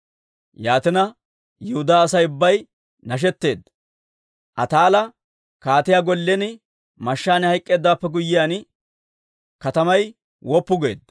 Yaatina Yihudaa Asay ubbay nashetteedda. Ataalla kaatiyaa gollen mashshaan hayk'k'eeddawaappe guyyiyaan, katamay woppu geedda.